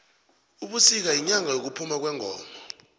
ubisika yinyanga yekuphuma kwengoma